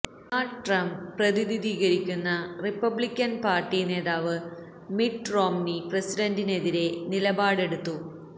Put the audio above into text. Donald Trump പ്രതിനിധീകരിക്കുന്ന Republican party നേതാവ് Mitt Romney പ്രസിഡന്റിനെതിരെ നിലപാടെടുത്തു